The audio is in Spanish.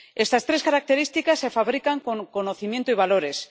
Estas tres características se fabrican con conocimiento y valores.